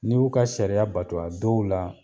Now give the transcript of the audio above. Ni b'u ka sariya bato, a dɔw la